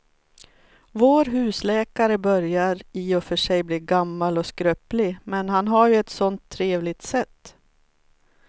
Vår husläkare börjar i och för sig bli gammal och skröplig, men han har ju ett sådant trevligt sätt!